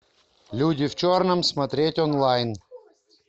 люди в черном смотреть онлайн